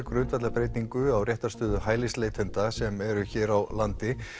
grundvallarbreytingu á réttarstöðu hælisleitenda sem eru hér á landi